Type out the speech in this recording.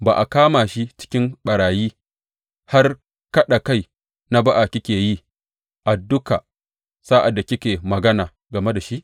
Ba a kama shi cikin ɓarayi, har kaɗa kai na ba’a kike yi a duka sa’ad da kike magana game da shi?